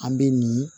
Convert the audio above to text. An bɛ nin